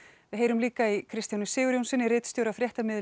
við heyrum líka í Kristjáni Sigurjónssyni ritstjóra